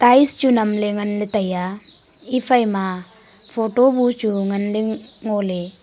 tiles chu nam le ngan le taiya ephaima photo bu chu ngan le ngo le.